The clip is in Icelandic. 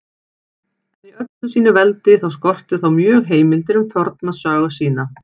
En í öllu sínu veldi skorti þá mjög heimildir um forna sögu sína.